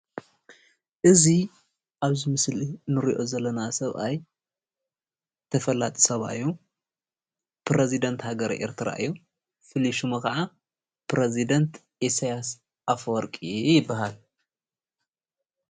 እዚ ኣብዚ ምስሊ እንሪኦ ዘለና ሰብኣይ ተፈላጢ ሰብኣይ እዮ፡፡ ፕረዚዳንት ሃገረ ኤርትራ እዮም፡፡ ፍሉይ ሽሙ ከዓ ፕረዚዳንት ኢሳያስ አፈወርቂ ይባሃል፡፡